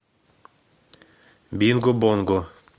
бинго бонго